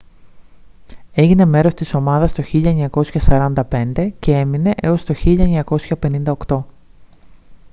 έγινε μέρος της ομάδα το 1945 και έμεινε έως το 1958